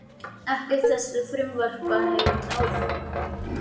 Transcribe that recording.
Ekkert þessara frumvarpa hefur náð fram að ganga.